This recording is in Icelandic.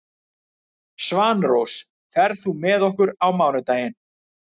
Svanrós, ferð þú með okkur á mánudaginn?